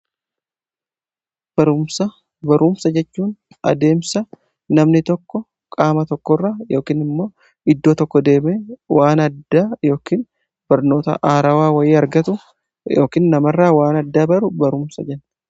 Barumsa jechuun adeemsa namni tokko qaama tokko irra yookin immoo iddoo tokko deeme waan addaa yookiin barnoota haarawaa wayii argatu yookiin namarraa waan addaa baru barumsa jenna.